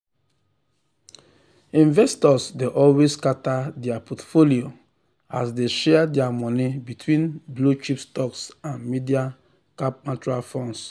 investors dey always scatter their portfolio as dey share their money between blue-chip stocks and mid-cap mutual funds.